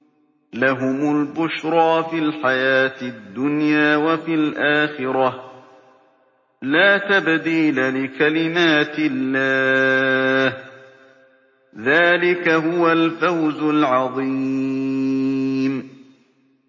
لَهُمُ الْبُشْرَىٰ فِي الْحَيَاةِ الدُّنْيَا وَفِي الْآخِرَةِ ۚ لَا تَبْدِيلَ لِكَلِمَاتِ اللَّهِ ۚ ذَٰلِكَ هُوَ الْفَوْزُ الْعَظِيمُ